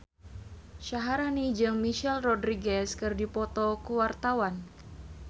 Syaharani jeung Michelle Rodriguez keur dipoto ku wartawan